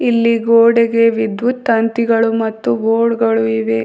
ಇಲ್ಲಿ ಗೋಡೆಗೆ ವಿದ್ವುತ್ ತಂತಿಗಳು ಮತ್ತು ಬೋರ್ಡ್ ಗಳು ಇವೆ.